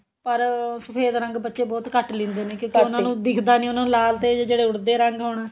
ਪਰ ਸਫ਼ੇਦ ਰੰਗ ਬੱਚੇ ਬਹੁਤ ਘੱਟ ਲਿੰਦੇ ਨੇ ਤੇ ਉਹਨਾ ਨੂੰ ਦਿਖਦਾ ਨਹੀਂ ਉਹਨਾ ਨੂੰ ਜਿਹੜੇ ਲਾਲ ਤੇ ਜਿਹੜੇ ਉੜਦੇ ਰੰਗ ਹੋਣ